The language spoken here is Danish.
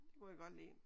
Det kunne jeg godt lide